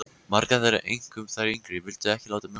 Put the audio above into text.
Margar þeirra, einkum þær yngri, vildu ekki láta mjólka sig.